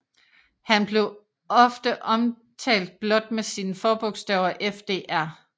Han blev ofte omtalt blot med sine forbogstaver FDR